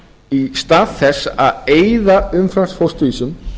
í stað þess að eyða umframfósturvísum